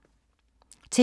TV 2